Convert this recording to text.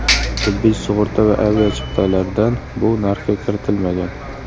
Tibbiy sug‘urta va aviachiptalardan bu narxga kiritilmagan.